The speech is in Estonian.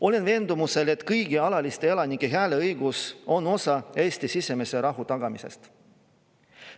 Olen veendumusel, et kõigi alaliste elanike hääleõigus on osa Eesti sisemise rahu tagamisest.